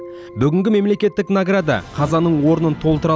бүгінгі мемлекеттік награда қазаның орнын толтыра